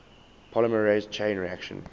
polymerase chain reaction